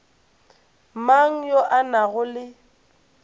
mang yo a nago le